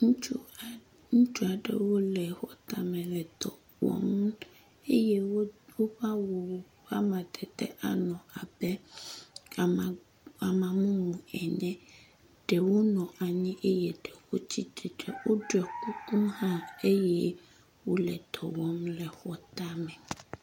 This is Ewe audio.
Ŋutsu aɖe, ŋutsu aɖewo le xɔ tame le dɔ wɔm eye wodo woƒe awu vovovo. Woƒe amadede anɔ abe ama…ama mumu ene ɖewo nɔ anyi eye ɖewo tsitre eye woɖɔ kuku hã eye wole dɔ wɔm le xɔ tame.